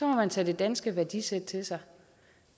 må man tage det danske værdisæt til sig